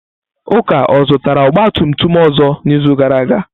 Uka zụtara ọgba tum tum ọzọ n'izu gara aga?